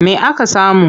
Me aka samu?